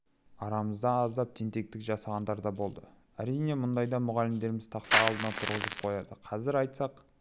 арамызда аздап тентектік жасағандар да болды әрине мұндайда мұғалімдеріміз тақта алдына тұрғызып қояды қазір айтсақ